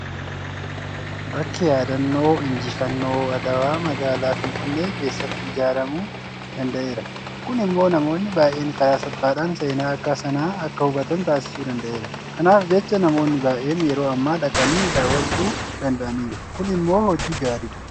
Bakki yaadannoo injifannoo adawaa magaalaa Finfinnee keessatti ijaaramuu danda'eera. Kun immoo namoonni baay'een karaa salphaadhaan seenaa bakka sanaa akka hubatan taasisuu danda'eera. Kanaaf jecha namoonni baay'een yeroo ammaa dhaqanii daawwachuu danda'aniiru. Kun immoo hojii gaariidha.